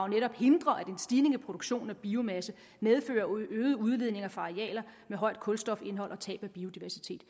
netop hindrer at en stigning i produktionen af biomasse medfører øgede udledninger fra arealer med højt kulstofindhold og tab af biodiversitet